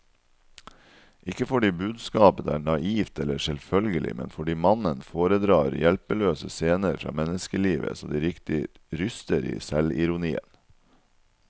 Ikke fordi budskapet er naivt eller selvfølgelig, men fordi mannen foredrar hjelpeløse scener fra menneskelivet så det riktig ryster i selvironien.